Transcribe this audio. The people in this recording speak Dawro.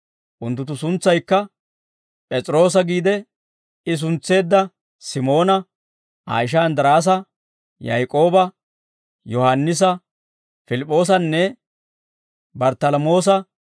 Unttunttu suntsaykka: P'es'iroosa giide I suntseedda Simoona, Aa ishaa Inddiraasa, Yaak'ooba, Yohaannisa, Pilip'p'oosanne Barttalamoosa,